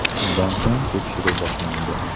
Shundan so‘ng tekshiruv boshlandi.